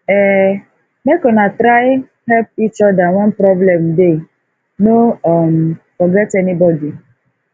um make una try help each oda wen problem dey no um forget anybodi